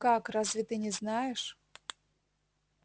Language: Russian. как разве ты не знаешь